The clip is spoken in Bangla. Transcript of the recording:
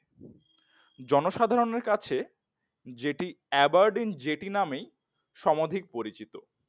জনসাধারণের কাছে জেটি আবারডীন জেটি নামেই সমধিক পরিচিত।